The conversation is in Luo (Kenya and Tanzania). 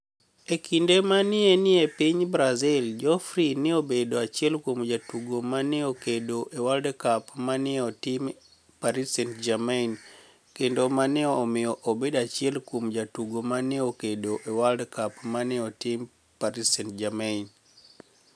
E kinide ma ni e eni e piniy Brazil, Geodfrey ni e obedo achiel kuom jotugo ma ni e okedo e World Cup ma ni e tim Paris St-Germaini, kenido mani e ni e omiyo obedo achiel kuom jotugo ma ni e okedo e World Cup ma ni e otim Paris St-Germaini.